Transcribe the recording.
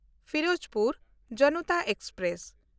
Firozpur Janata express